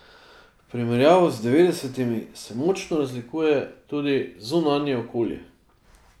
V primerjavi z devetdesetimi se močno razlikuje tudi zunanje okolje.